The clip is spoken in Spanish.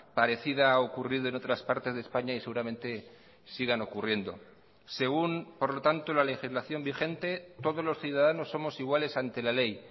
parecida ha ocurrido en otras partes de españa y seguramente sigan ocurriendo según por lo tanto la legislación vigente todos los ciudadanos somos iguales ante la ley